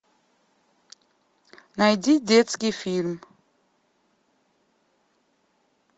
найди детский фильм